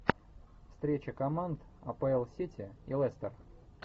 встреча команд апл сити и лестер